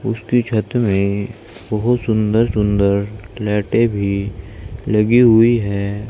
उसके छत में बहुत सुंदर सुंदर लाइटे भी लगी हुई हैं।